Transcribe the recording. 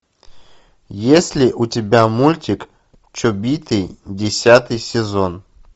есть ли у тебя мультик чобиты десятый сезон